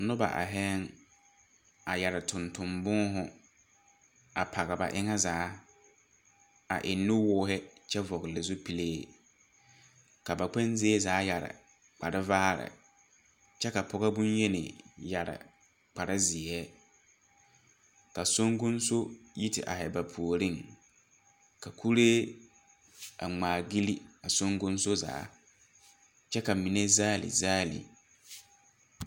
Noba aihɛɛŋ a yɛrre tonton būūhū a page ba eŋa zaa a eŋ nu woohi kyɛ vɔgle zupilee ka ba kpɛŋ zie zaa yɛre kpare vaare kyɛ ka pogɔ bonyeni yɛre kparezeɛ ka songkonso yi te aihi ba puoreŋ ka kuree a ngmaagyile a songkonso zaa kyɛ ka mine zaale zaale.